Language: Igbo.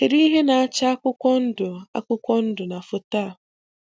Kedụ ihe na-acha akwụkwọ ndụ akwụkwọ ndụ na foto a?